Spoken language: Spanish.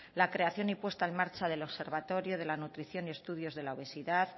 la creación y puesta en marcha del observatorio de la nutrición y estudios de la obesidad